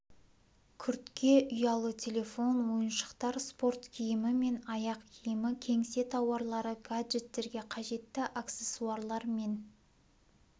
күртке ұялы телефон ойыншықтар спорт киімі мен аяқ киімі кеңсе тауарлары гаджеттерге қажетті аксессуарлар мен